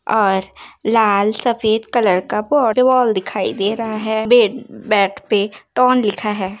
और लाल सफ़ेद कलर का दिखाई दे रहा है। बात पे लिखा है |